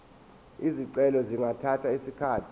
izicelo zingathatha isikhathi